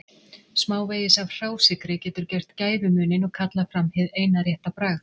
Smávegis af hrásykri getur gert gæfumuninn og kallað fram hið eina rétta bragð.